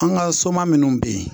An ka soma minnu bɛ yen